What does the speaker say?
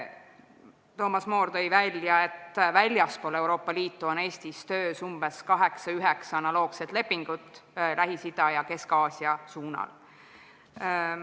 Toomas Moor tõi välja, et Eestis on töös 8–9 analoogset lepingut väljaspool Euroopa Liitu asuvate riikidega, s.o Lähis-Ida ja Kesk-Aasia suunal.